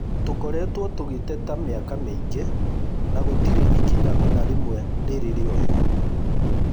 Tũkoretwo tũgĩteta mĩaka mĩingĩ na gũtirĩ ikinya onarĩmwe rĩrĩ rĩoywo